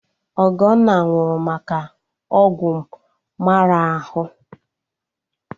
Ọgọnna nwụrụ maka ọgwụ mmara ahụ